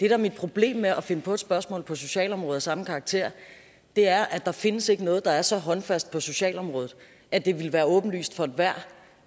er mit problem med at finde på et spørgsmål på socialområde af samme karakter er at der ikke findes noget der er så håndfast på socialområdet at det ville være åbenlyst for enhver